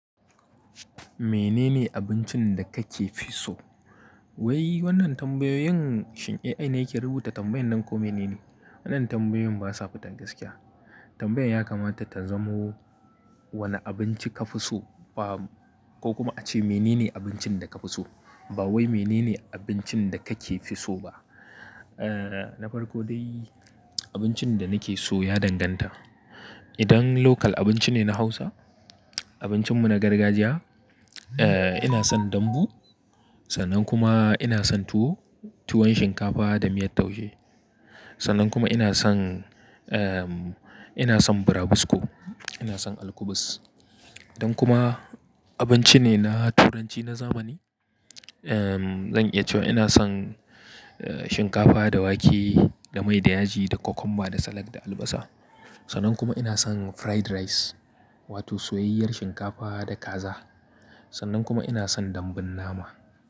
Menene abincin da kake fi so? Wai wannan tambayoyin shin ai ne yake rubuta tambayan nan ko mene ne? Wannan tambayoyin basa fita gaskiya. Tambayar ya kamata ta zamo wanne abinci ka fi so ba ko kuma a ce menene abincin da ka fi so. Ba wai menene abincin da kake fi so ba. Eh, na farko dai abincin da nake so ya danganta. Idan local abinci ne na Hausa, abincin mu na gargajiya, eh ina son dambu, sannan kuma ina son tuwo, tuwon shinkafa da miyar taushe. Sannan kuma ina son, ehm ina son burabusko, ina son alkubus. Idan kuma abinci ne na turanci na zamani, ehm zan iya cewa ina son shinkafa da wake, da mai da yaji, da kwakumba, da salak, da albasa. Sannan kuma ina son fried rice wato soyayyar shinkafa da kaza. Sannan kuma ina son dambun nama.